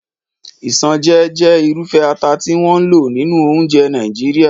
Isanaje jẹ́ irúfẹ́ ata tí wọ́n ń lò nínú oúnjẹ Nàìjíríà.